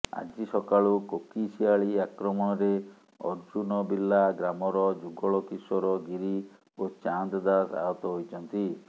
ଆଜି ସକାଳୁ କୋକିଶିଆଳି ଆକ୍ରମଣରେ ଅର୍ଜୁନବିଲ୍ଲା ଗ୍ରାମର ଯୁଗୋଳ କିଶୋର ଗିରି ଓ ଚାନ୍ଦ ଦାସ ଆହତ ହୋଇଛନ୍ତି